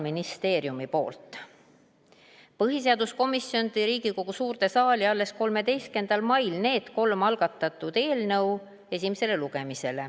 Põhiseaduskomisjon tõi need kolm algatatud eelnõu Riigikogu suurde saali esimesele lugemisele alles 13. mail.